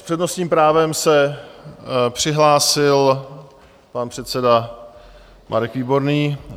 S přednostním právem se přihlásil pan předseda Marek Výborný.